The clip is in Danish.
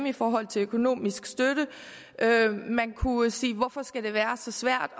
i forhold til økonomisk støtte og man kunne sige hvorfor skal det være så svært